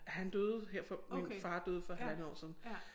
Han døde her for min far døde for halvandet år siden